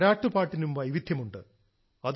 താരാട്ടുപാട്ടിനും വൈവിധ്യമുണ്ട്